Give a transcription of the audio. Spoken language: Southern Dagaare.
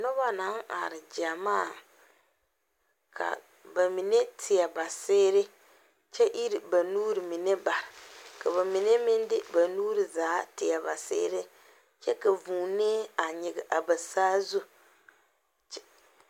Noba naŋ are gyamaa, ka ba mine teɛ ba seere, kyɛ iri ba nuuri mine bare ka ba mine meŋ de ba nuuri zaa teɛ ba seere kyɛ ka vuunɛ a nyigi a ba saazu